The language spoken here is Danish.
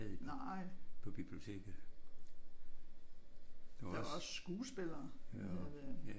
Nej. Der var også skuespillere hvad hedder det